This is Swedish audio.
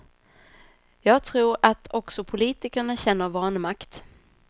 Jag tror att också politikerna känner vanmakt.